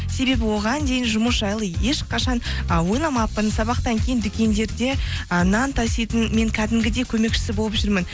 себебі оған дейін жұмыс жайлы ешқашан ы ойламаппын сабақтан кейін дүкендерде ы нан таситын мен кәдімгідей көмекшісі болып жүрмін